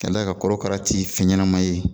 Ka la ka kɔrɔkara ti fɛn ɲɛnɛma ye.